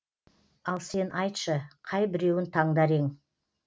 ал сен айтшы қайбіреуін таңдар ең